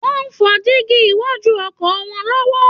Wọn ń fọ gílààsí iwájú ọkọ̀ wọn lọ́wọ́